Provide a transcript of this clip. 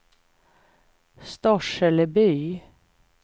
Storseleby